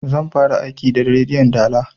Zan fara aiki da rediyon dala